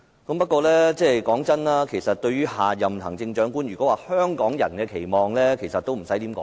不過，說真的，其實對於下任行政長官，如果要提到香港人的期望，其實已不用多說。